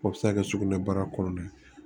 O bɛ se ka kɛ sugunɛbara kɔnɔna ye